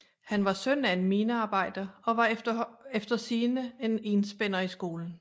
Han var søn af en minearbejder og var efter sigende en enspænder i skolen